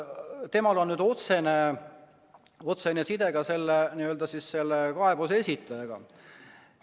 Temal on nüüd otsene side ka selle kaebuse esitajaga.